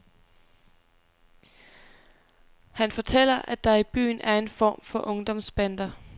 Han fortæller, at der i byen er en form for ungdomsbander.